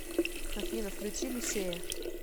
афина включи люсея